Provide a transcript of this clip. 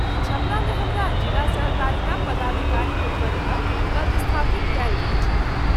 छपरा मे हमरा ज़िला सहकारिता पदाधिकारी के पद पर पदस्थापित कयल गेल छल।